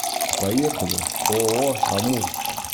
поехали ооо амур